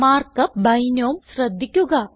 mark up ബിനോം ശ്രദ്ധിക്കുക